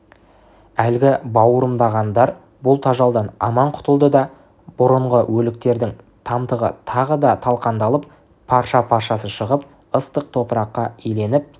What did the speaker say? әлгі бауырымдағандар бұл тажалдан аман құтылды да бұрынғы өліктердің тамтығы тағы да талқандалып парша-паршасы шығып ыстық топыраққа иленіп